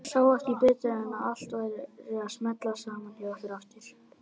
Sá ekki betur en að allt væri að smella saman hjá ykkur aftur.